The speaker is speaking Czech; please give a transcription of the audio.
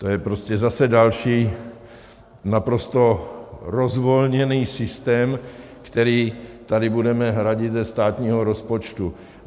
To je prostě zase další naprosto rozvolněný systém, který tady budeme hradit ze státního rozpočtu.